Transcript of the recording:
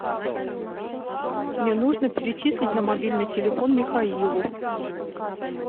мне нужно перечислить на мобильный телефон михаилу